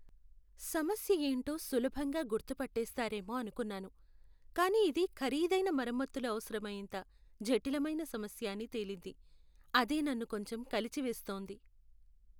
సమస్య యేంటో సులభంగా గుర్తుపట్టేస్తారేమో అనుకున్నాను, కానీ ఇది ఖరీదైన మరమ్మతులు అవసరమయ్యేంత జటిలమైన సమస్య అని తేలింది. అదే నన్ను కొంచెం కలచివేస్తోంది.